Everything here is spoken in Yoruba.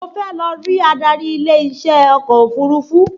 Mo fẹ́ lọ rí adarí ilé iṣẹ́ ọkọ̀ òfurufú